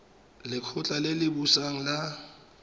lekgotla le le busang la